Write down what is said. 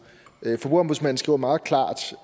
forbrugerombudsmanden skriver meget klart